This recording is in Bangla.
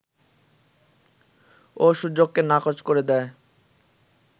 ও সুযোগকে নাকচ করে দেয়